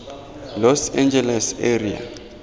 los angeles area